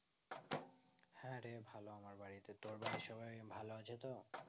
হ্যাঁ রে ভালো আমার বাড়িতে তোর বাড়ির সবাই ভালো আছে তো